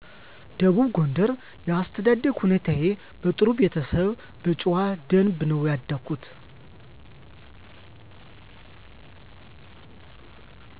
ደቡብ ጎንደር የአስተዳደግ ሁኔታዬ በጥሩ ቤተሰብ በጨዋ ደንብ ነው ያደኩት